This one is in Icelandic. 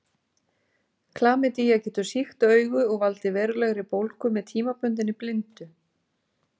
Klamydía getur sýkt augu og valdið verulegri bólgu með tímabundinni blindu.